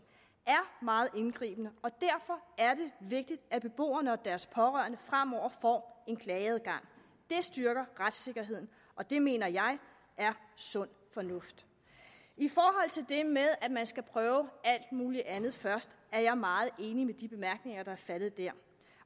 er meget indgribende og derfor er det vigtigt at beboerne og deres pårørende fremover får en klageadgang det styrker retssikkerheden og det mener jeg er sund fornuft i med at man skal prøve alt muligt andet først jeg er meget enig i de bemærkninger der er faldet der